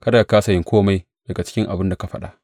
Kada ka kāsa yin kome daga cikin abin da ka faɗa.